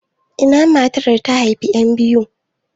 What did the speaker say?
Ina matar da ta haifi yan biyu?